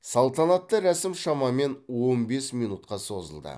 салтанатты рәсім шамамен он бес минутқа созылды